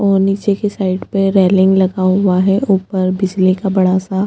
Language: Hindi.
और नीचे की साईड पे रेलिंग लगा हुआ है ऊपर बिजली का बड़ा सा --